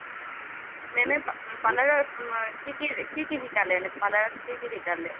মেমে পাৰ্লাৰ পাৰ্লাৰত কি কি শিকালে? পাৰ্লাৰত কি কি শিকালে?